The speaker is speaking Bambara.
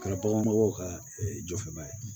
Kɛra baganmɔgɔw ka jɔfɛnba ye